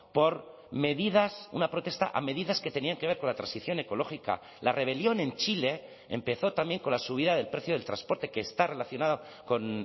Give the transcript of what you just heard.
por medidas una protesta a medidas que tenían que ver con la transición ecológica la rebelión en chile empezó también con la subida del precio del transporte que está relacionada con